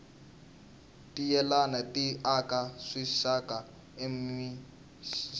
tinyenyani ti aka swisaka eminsinyeni